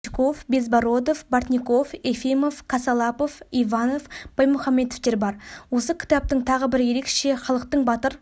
бычков безбородов бортников ефимов косослапов иванов баймухамбетовтер бар осы кітаптың тағы бір ерекше халықтың батыр